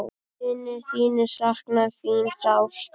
Vinir þínir sakna þín sárt.